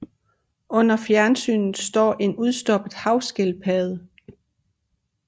Under fjernsynet står en udstoppet havskildpadde